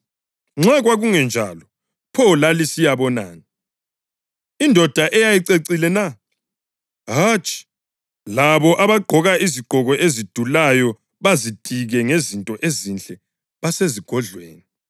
Nxa kwakungenjalo, pho lalisiyabonani? Indoda eyayicecile na? Hatshi, labo abagqoka izigqoko ezidulayo bazitike ngezinto ezinhle basezigodlweni.